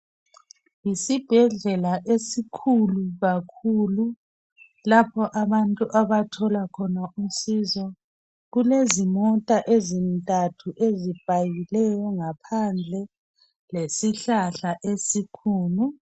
Yesibhedlela esikhulu kakhulu, lapho abantu abathola khona usizo kulezimota ezintathu ezipakileyo ngaphandle lesihlahla esikhulu.